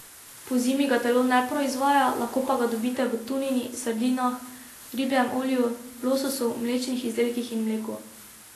Pozimi ga telo ne proizvaja, lahko pa ga dobite v tunini, sardinah, ribjem olju, lososu, mlečnih izdelkih in mleku.